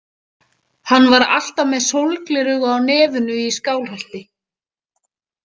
Hann var alltaf með sólgleraugu á nefinu í Skálholti.